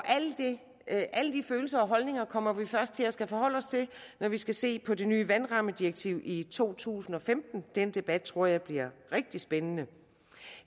alle de følelser og holdninger kommer vi først til at skulle forholde os til når vi skal se på det nye vandrammedirektiv i to tusind og femten den debat tror jeg bliver rigtig spændende